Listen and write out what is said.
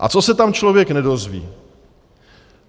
A co se tam člověk nedozví.